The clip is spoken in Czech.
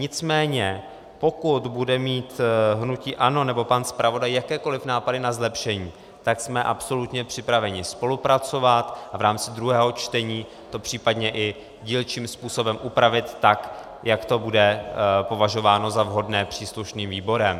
Nicméně pokud bude mít hnutí ANO, nebo pan zpravodaj, jakékoliv nápady na zlepšení, tak jsme absolutně připraveni spolupracovat a v rámci druhého čtení to případně i dílčím způsobem upravit tak, jak to bude považováno za vhodné příslušným výborem.